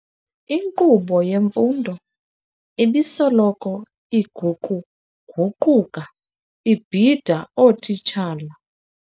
Inkqubo yemfundo ibisoloko iguquguquka ibhida ootitshala.